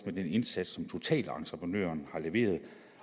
med den indsats som totalentreprenøren har leveret